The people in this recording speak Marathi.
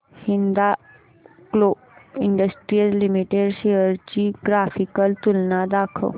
हिंदाल्को इंडस्ट्रीज लिमिटेड शेअर्स ची ग्राफिकल तुलना दाखव